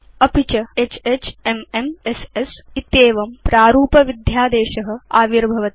अपि च HHMMSS इत्येवं प्रारूपविध्यादेश आविर्भवति